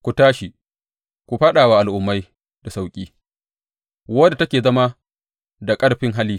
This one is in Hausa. Ku tashi ku kuma fāɗa wa al’umma da sauƙi wadda take zama da ƙarfin hali,